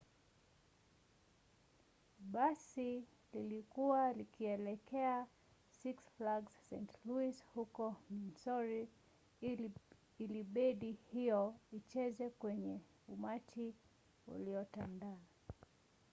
basi lilikuwa likielekea six flags st. louis huko missouri ili bendi hiyo icheze kwenye umati uliotandaa